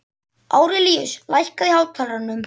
Árelíus, lækkaðu í hátalaranum.